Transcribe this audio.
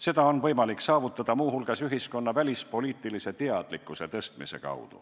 Seda on võimalik saavutada muu hulgas ühiskonna välispoliitilise teadlikkuse tõstmise abil.